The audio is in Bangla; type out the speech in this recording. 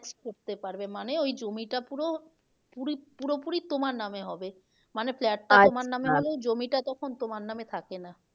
পারবে মানে ও ই জমিটা পুরো পুরি, পুরো পুরি তোমার নামে হবে মানে flat নামে হবে জমিটা তখন তোমার নামে থাকে না